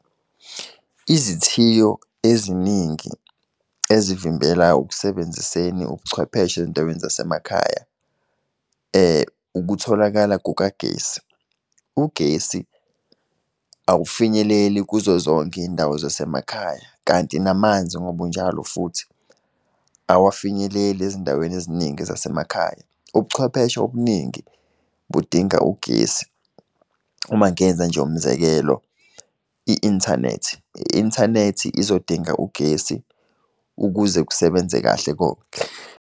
Izithiyo eziningi ezivimbela ukusebenziseni ubucwepheshe ezindaweni zasemakhaya ukutholakala kukagesi. Ugesi awufinyeleli kuzo zonke iy'ndawo zasemakhaya, kanti namanzi ngobunjalo futhi, awafinyeleli ezindaweni eziningi zasemakhaya. Ubuchwepheshe obuningi budinga ugesi. Uma ngenza nje umzekelo, i-inthanethi, i-inthanethi izodinga ugesi ukuze kusebenze kahle konke.